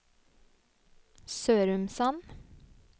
Sørumsand